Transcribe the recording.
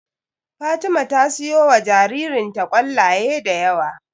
Fatima ta siyowa jaririnta ƙwallaye da yawa.